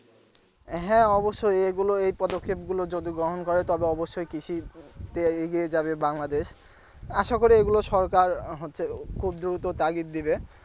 হ্যাঁ অবশ্যই এগুলো এই পদক্ষেপগুলো যদি গ্রহণ করে তবে অবশ্যই কৃষিতে এগিয়ে যাবে বাংলাদেশ আশা করি এগুলো হচ্ছে সরকার খুব দ্রুত তাগিদ দিবে।